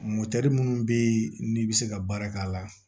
minnu bɛ yen n'i bɛ se ka baara k'a la